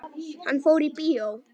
Hann fór í bíó.